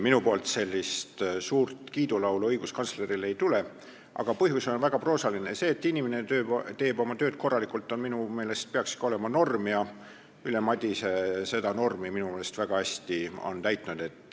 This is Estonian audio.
Minult sellist suurt kiidulaulu õiguskantslerile ei tule, aga põhjus on väga proosaline: see, et inimene teeb oma tööd korralikult, peaks minu meelest ikka olema norm ja Ülle Madise on seda normi väga hästi täitnud.